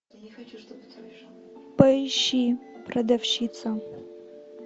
поищи продавщица